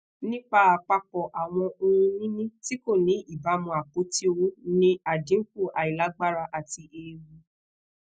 nipa apapọ awọn ohunini ti ko ni ibamu apoti owo ni adinku ailagbara ati eewu